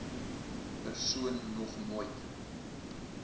persoon nog nooit